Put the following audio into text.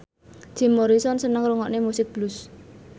Jim Morrison seneng ngrungokne musik blues